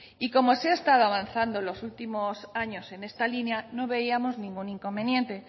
y como se ha estado avanzando en los últimos años en esta línea no veíamos ningún inconveniente